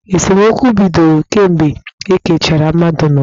Esemokwu bidoro kemgbe ekechara mmadụ n'ụwa.